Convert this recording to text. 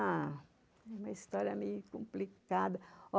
Ah, é uma história meio complicada.